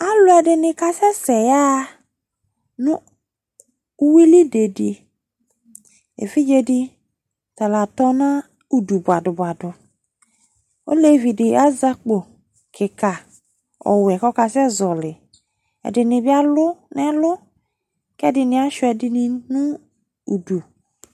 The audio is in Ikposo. Alu ɛdini kasɛsɛ yaɣa nʋ uwili bediƐvidze di tala tɔ nʋ udu buadu buaduOlevi di asɛ akpo kika ɔwɛ kɔkasɛzɔli Ɛdini bi alʋ nɛlʋ, kɛdini asuia ɛdini nʋ udu